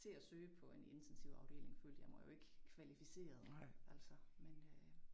Til at søge på en intensivafdeling følte jeg mig jo ikke kvalificeret altså men øh